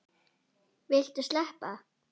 Viltu sleppa!